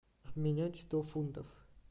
обменять сто фунтов